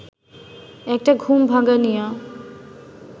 একটা ঘুম-ভাঙানিয়া